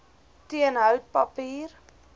teen hout papier